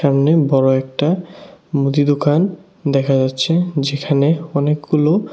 সামনে বড় একটা মুদি দোকান দেখা যাচ্ছে যেখানে অনেকগুলো--